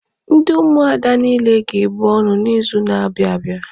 Ndị Ụmụada niile ga-ebu ọnụ n'izu na-abịa abịa.